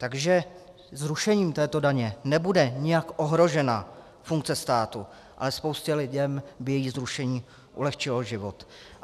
Takže zrušením této daně nebude jinak ohrožena funkce státu, ale spoustě lidí by její zrušení ulehčilo život.